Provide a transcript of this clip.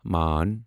main